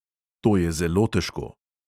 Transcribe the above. To je zelo težko.